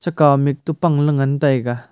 chaka mih to pang la ngan taiga.